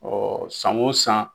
san wo san.